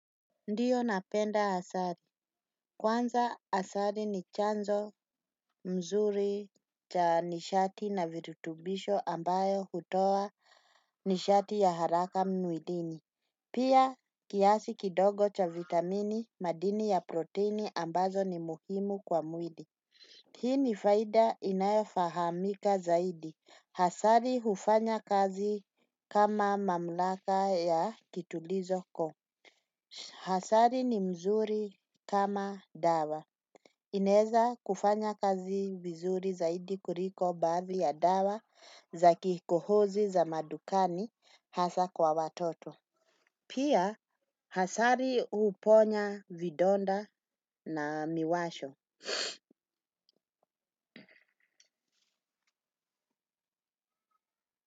Ndiyo napenda asali. Kwanza asali ni chanzo mzuri cha nishati na virutubisho ambayo hutoa nishati ya haraka mwilini. Kiasi kidogo cha vitamini, madini ya protini ambazo ni muhimu kwa mwili. Hii ni faida inayofahamika zaidi. Asali hufanya kazi kama mamlaka ya kituliza koo. Asali ni mzuri kama dawa. Inaweza kufanya kazi vizuri zaidi kuliko baadhi ya dawa za kikohozi za madukani hasa kwa watoto. Pia asali huponya vidonda na miwasho.